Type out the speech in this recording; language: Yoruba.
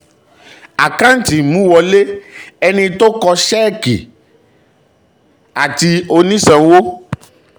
àkántì imúwọlé: ẹni tó kọ́sẹ́ẹ́kì um àti onísanwó